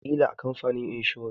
Wataƙila a kamfanin inshora.